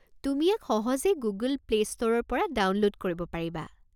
তুমি ইয়াক সহজেই গুগল প্লে' ষ্টোৰৰ পৰা ডাউনলোড কৰিব পাৰিবা।